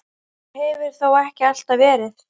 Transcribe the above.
Svo hefur þó ekki alltaf verið.